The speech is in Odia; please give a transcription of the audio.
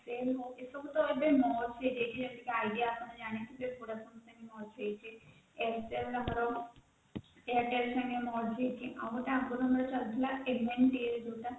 ହଉ ଏସବୁ ତ ଏବେ merge ହେଇଯାଇଛି idea ଆପଣ ଜାଣିଥିବେ vodafone ସାଙ୍ଗରେ merge ହେଇଛି airtel ଆମର airtel ସାଙ୍ଗରେ merge ହେଇଛି ଆଉ ଗୋଟେ ଆଗରୁ ଯାଉ ଚାଲୁଥିଲା ଯୋଉଟା